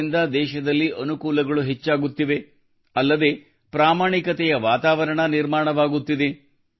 ಇದರಿಂದ ದೇಶದಲ್ಲಿ ಅನುಕೂಲಗಳು ಹೆಚ್ಚಾಗುತ್ತಿವೆ ಅಲ್ಲದೆ ಪ್ರಾಮಾಣಿಕತೆಯ ವಾತಾವರಣ ನಿರ್ಮಾಣವಾಗುತ್ತಿದೆ